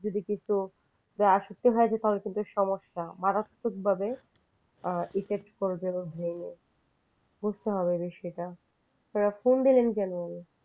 যদি কিছু আসক্তি হয় তাহলে কিন্তু সমস্যা যা মারাত্মকভাবে এফেক্ট করবে ওর উপরে বুঝতে হবে বিষয়টা phone দিলেন কেন?